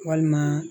Walima